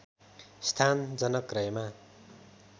स्थान जनक रहेमा